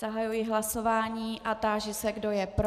Zahajuji hlasování a táži se, kdo je pro.